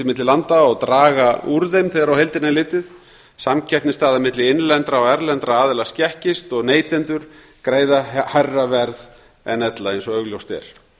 milli landa og draga úr þeim þegar á heildina er litið samkeppnisstaða milli innlendra og erlendra aðila skekkist og neytendur greiða hærra verð en ella eins og augljóst er